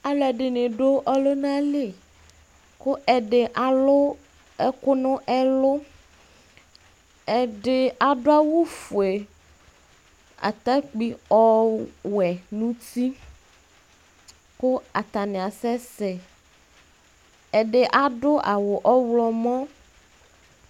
Ɔlɔdɩnɩ adu ɔlʋna li, kʋ ɛdɩ alu ɛkʋ nʋ ɛlʋ Ɛdɩ adu awufue, atakpui ɔwɛ nʋ uti Kʋ atani asɛsɛ Ɛdɩ adu awu ɔɣlɔmɔ